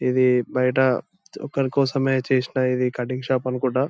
ఇది బయట ఒకరి కోసమే చేసిన ఇది కటింగ్ షాప్ అనుకుంటా.